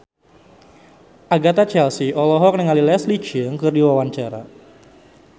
Agatha Chelsea olohok ningali Leslie Cheung keur diwawancara